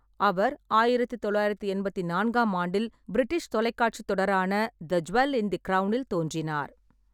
அவர் ஆயிரத்து தொள்ளாயிரத்தி எண்பத்தி நான்காம் ஆண்டில் பிரிட்டிஷ் தொலைக்காட்சித் தொடரான தி ஜூவல் இன் தி கிரௌனில் தோன்றினார்.